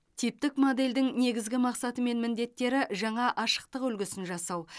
типтік модельдің негізгі мақсаты мен міндеттері жаңа ашықтық үлгісін жасау